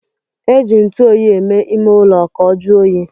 E ji ntuoyi eme ime ulo ka o juo oyi